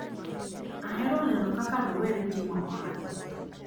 Ahero neno kaka rowere timo ohala.